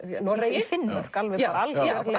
Noregi í Finnmörk alveg alveg